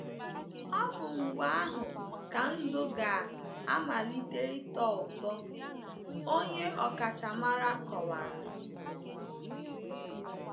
Ọ bụ mgbe ahụ ka ndụ ga - amalite ịtọ ụtọ, onye ọkachamara kowara.